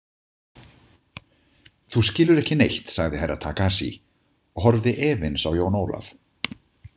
Þú skilur ekki neitt, sagði Herra Takashi og horfði efins á Jón Ólaf.